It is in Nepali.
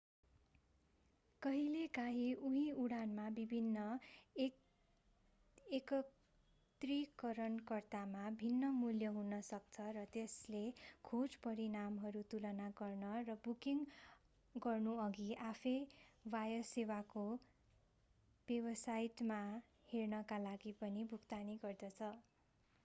कहिलेकाहिँ उही उडानमा विभिन्न एकत्रीकरणकर्तामा भिन्न मूल्य हुन सक्छ र यसले खोज परिणामहरू तुलना गर्न र बुकिङ गर्नुअघि आफैँ वायुसेवाको वेबसाइटमा हेर्नका लागि पनि भुक्तानी गर्दछ